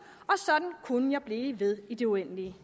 og sådan kunne jeg blive ved i det uendelige